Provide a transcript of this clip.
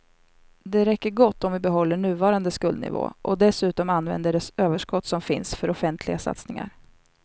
Det räcker gott om vi behåller nuvarande skuldnivå och dessutom använder det överskott som finns för offentliga satsningar.